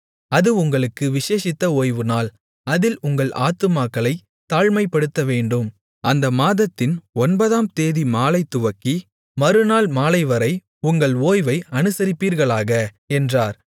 அது உங்களுக்கு விசேஷித்த ஓய்வுநாள் அதில் உங்கள் ஆத்துமாக்களைத் தாழ்மைப்படுத்தவேண்டும் அந்த மாதத்தின் ஒன்பதாம்தேதி மாலை துவக்கி மறுநாள் மாலைவரை உங்கள் ஓய்வை அனுசரிப்பீர்களாக என்றார்